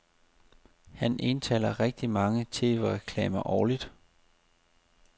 Han indtaler rigtigt mange tvreklamer årligt.